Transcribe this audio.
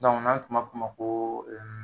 n'an tun b'a f'o ma koo